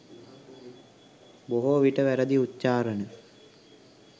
බොහෝවිට වැරදි උච්චාරණ,